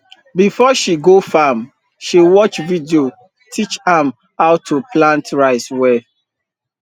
before she go farm she watch video teach am how to plant rice well